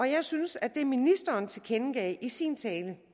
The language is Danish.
jeg synes at det ministeren tilkendegav i sin tale